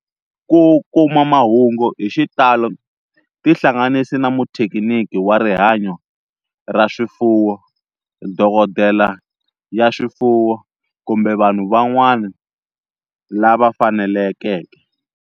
Ku kuma mahungu hi xitalo tihlanganisi na muthekiniki wa rihanyo ra swifuwo, dokodela ya swifuwo, kumbe vanhu van'wana lava fanelekeke.